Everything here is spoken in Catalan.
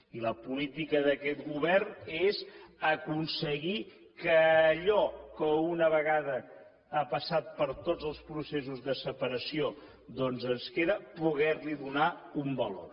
i la política d’aquest govern és aconseguir que allò que una vegada ha passat per tots els processos de separació doncs ens queda poder li donar un valor